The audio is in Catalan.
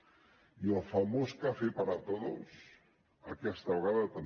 i el famós café para todos aquesta vegada també